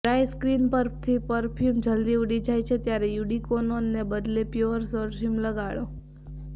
dry skin પરથી perfume જલદી ઊડી જાય છે ત્યારે યુડી કોલોનને બદલે પ્યોર પરફ્યુમ લગાડો